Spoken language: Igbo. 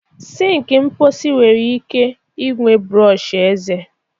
Sink mposi nwere ike ịnwe brọsh eze